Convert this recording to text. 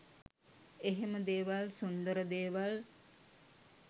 එහෙම දේවල් සුන්දර දේවල්